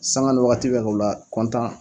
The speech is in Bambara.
Sanga ni wagati bɛɛ k'o la